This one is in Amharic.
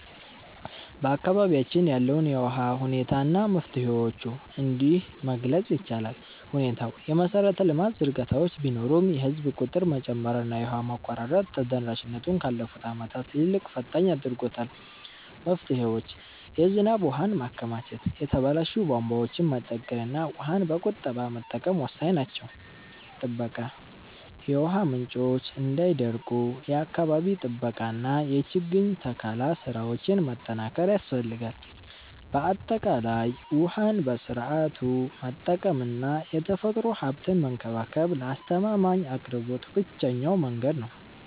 በአካባቢያችን ያለውን የውሃ ሁኔታ እና መፍትሄዎቹን እንዲህ መግለፅ ይቻላል፦ ሁኔታው፦ የመሰረተ ልማት ዝርጋታዎች ቢኖሩም፣ የህዝብ ቁጥር መጨመርና የውሃ መቆራረጥ ተደራሽነቱን ካለፉት ዓመታት ይልቅ ፈታኝ አድርጎታል። መፍትሄዎች፦ የዝናብ ውሃን ማከማቸት፣ የተበላሹ ቧንቧዎችን መጠገንና ውሃን በቁጠባ መጠቀም ወሳኝ ናቸው። ጥበቃ፦ የውሃ ምንጮች እንዳይደርቁ የአካባቢ ጥበቃና የችግኝ ተከላ ስራዎችን ማጠናከር ያስፈልጋል። ባጠቃላይ፣ ውሃን በስርዓቱ መጠቀምና የተፈጥሮ ሀብትን መንከባከብ ለአስተማማኝ አቅርቦት ብቸኛው መንገድ ነው።